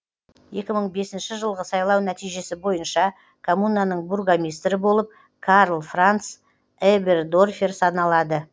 екі мың бесінші жылғы сайлау нәтижесі бойынша коммунаның бургомистрі болып карл франц эбердорфер саналады